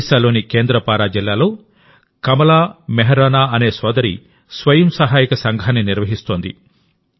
ఒడిశాలోని కేంద్రపారా జిల్లాలో కమలా మోహరానా అనే సోదరి స్వయం సహాయక సంఘాన్ని నిర్వహిస్తోంది